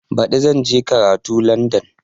Baɗi zan je karatu Landan